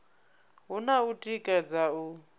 hu na u tikedza u